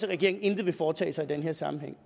regeringen intet vil foretage sig i den her sammenhæng